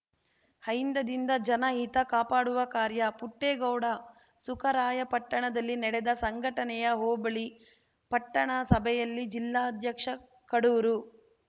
ಅಹಿಂದದಿಂದ ಜನ ಹಿತ ಕಾಪಾಡುವ ಕಾರ್ಯ ಪುಟ್ಟೇಗೌಡ ಸುಖರಾಯಪಟ್ಟಣದಲ್ಲಿ ನಡೆದ ಸಂಘಟನೆಯ ಹೋಬಳಿ ಪಟ್ಟಣ ಸಭೆಯಲ್ಲಿ ಜಿಲ್ಲಾಧ್ಯಕ್ಷ ಕಡೂರು